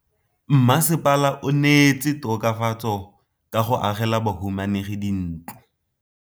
Mmasepala o neetse tokafatsô ka go agela bahumanegi dintlo.